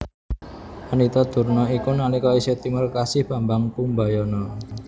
Pandhita Durna iku nalika isih timur kekasih Bambang Kumbayana